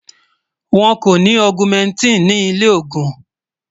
wón kò ní augumentin ní ilè ògún